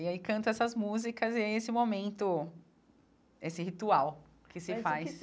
E aí canto essas músicas e é esse momento, esse ritual que se faz. É isso que